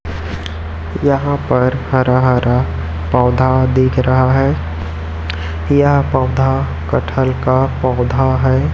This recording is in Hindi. यहाँ पर हरा हरा पौधा दिख रहा है यह पौधा कटहल का पौधा हैं।